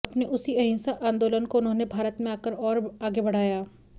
अपने उसी अहिंसा आंदोलन को उन्होंने भारत में आकर और आगे बढाया